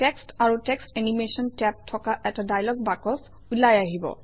text আৰু text animation tab থকা এটা ডায়লগ বাকচ ওলাই আহিব